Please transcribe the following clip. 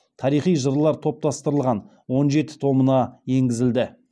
тарихи жырлар топтастырылған он жеті томына енгізілді